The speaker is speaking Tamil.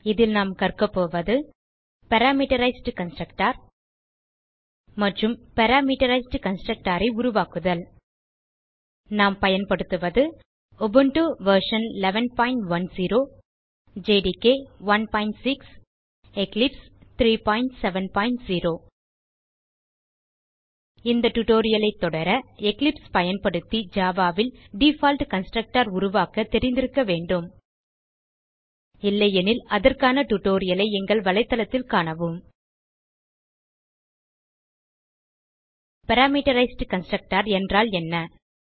இதில் நாம் கற்கபோவது பாராமெட்ரைஸ்ட் கன்ஸ்ட்ரக்டர் மற்றும் பாராமீட்டரைஸ்ட் கன்ஸ்ட்ரக்டர் உருவாக்குதல் நாம் பயன்படுத்துவது உபுண்டு வெர்ஷன் 1110 ஜேடிகே 16 எக்லிப்ஸ் 370 இந்த டியூட்டோரியல் ஐ தொடர எக்லிப்ஸ் பயன்படுத்தி ஜாவா ல் டிஃபால்ட் கன்ஸ்ட்ரக்டர் உருவாக்க தெரிந்திருக்க வேண்டும் இல்லையெனில் அதற்கான டியூட்டோரியல் ஐ எங்கள் தளத்தில் காணவும் httpwwwspoken tutorialஆர்க் பாராமீட்டரைஸ்ட் கன்ஸ்ட்ரக்டர் என்றால் என்ன